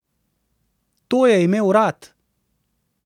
To je imel rad.